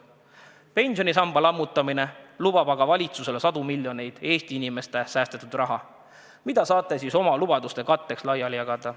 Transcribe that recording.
Pensionisamba lammutamine lubab valitsusele sadu miljoneid Eesti inimeste säästetud raha, mida saate oma lubaduste katteks laiali jagada.